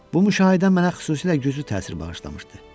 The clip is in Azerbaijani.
Bu müşahidə mənə xüsusilə güclü təsir bağışlamışdı.